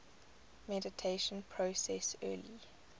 mediation process early